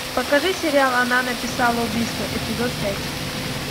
покажи сериал она написала убийство эпизод пять